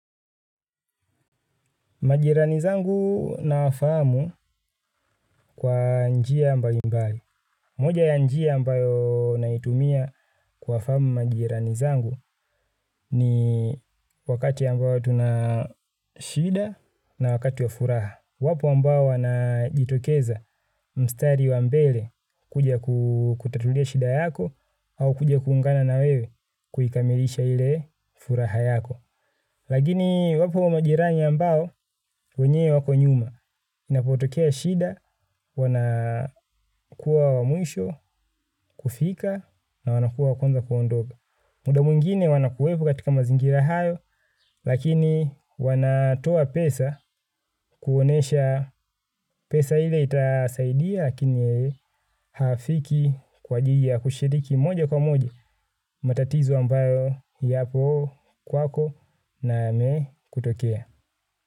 Majirani zangu nawafahamu kwa njia mbali mbali. Moja ya njia ambayo naitumia kuwafahamu majirani zangu ni wakati ambayo tuna shida na wakati wa furaha. Wapo ambao wanajitokeza mstari wa mbele kuja kukutatulia shida yako au kuja kuungana na wewe kuikamilisha ile furaha yako. Lakini iwapo majirani ambao, wenyewe wako nyuma, inapotokea shida, wanakuwa wa mwisho, kufika, na wanakuwa wa kwanza kuondoka. Muda mwengine wanakuwepo katika mazingira hayo, lakini wanatoa pesa, kuonesha pesa ile itasaidia, lakini hafiki kwa jiji ya kushiriki moja kwa moja, matatizo ambayo yapo kwako na yamekutokea.